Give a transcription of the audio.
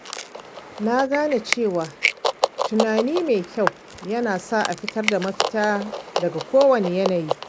Na gane cewa tunani mai kyau yana sa a fitar da mafita daga kowane yanayi.